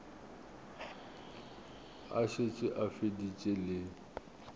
a šetše a feditše le